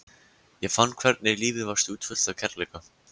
Ég fann hvernig lífið var stútfullt af kærleika.